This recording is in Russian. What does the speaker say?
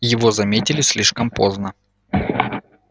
его заметили слишком поздно